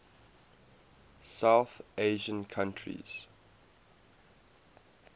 south asian countries